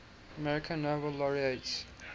american nobel laureates